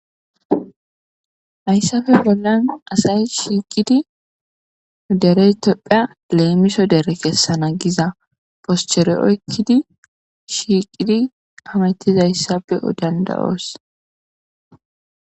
hayssafe bollan asay shiiqidi derey topphea leemiso dere kessana giza poschere oykkidi shiiqidi amatizayssafe dandayoos.